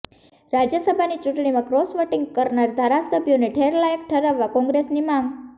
રાજ્યસભાની ચૂંટણીમાં cross voting કરનાર ધારાસભ્યોને ઠેરલાયક ઠરાવવા કોંગ્રેસની માંગ